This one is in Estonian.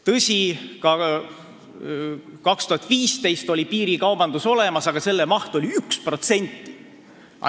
Tõsi, ka aastal 2015 oli piirikaubandus olemas, aga selle maht oli 1%.